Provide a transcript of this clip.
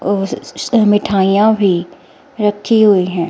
और स मिठाइयां भी रखी हुई है।